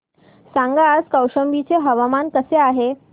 सांगा आज कौशंबी चे हवामान कसे आहे